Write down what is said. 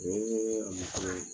O ye a ma fɛrɛ de .